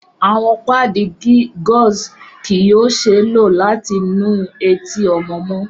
Awọn paadi gauze kii yoo ṣee lo lati nu eti ọmọ mọ